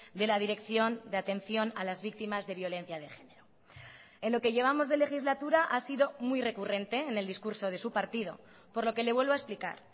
de la dirección de atención a las víctimas de violencia de género en lo que llevamos de legislatura ha sido muy recurrente en el discurso de su partido por lo que le vuelvo a explicar